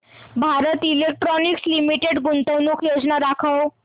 Bharat Electronics Limited गुंतवणूक योजना दाखव